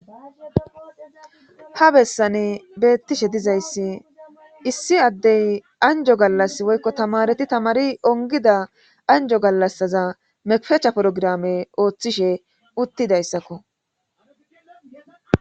Ha bessani beettishe dizayssi issi addey anjjo gallassi woykko tamareti tamari onggida anjjo gallasaza mekfecha porgraame oothishe uttidaysakko.